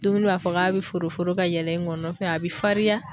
Dumuni b'a fɔ k'a bi foro foro ka yɛlɛ i gɔnɔn a bi fariya